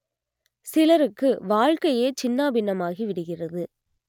சிலருக்கு வாழ்க்கையே சின்னாபின்னமாகி விடுகிறது